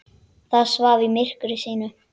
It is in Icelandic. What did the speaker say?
Það svaf í myrkri sínu.